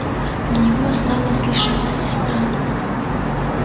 у него осталась лишь одна сестра